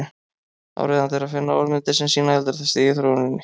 Áríðandi er að finna orðmyndir sem sýna eldra stig í þróuninni.